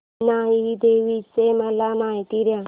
इनाई देवीची मला माहिती दे